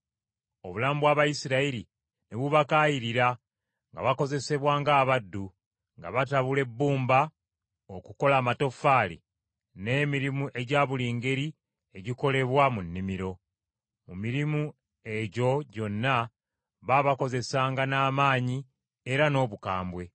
Obulamu bw’Abayisirayiri ne bubakaayirira nga bakozesebwa ng’abaddu; nga batabula ebbumba okukola amatoffaali; n’emirimu egya buli ngeri egikolebwa mu nnimiro. Mu mirimu egyo gyonna baabakozesanga n’amaanyi era n’obukambwe.